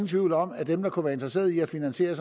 tvivl om at dem der kunne være interesseret i at finansiere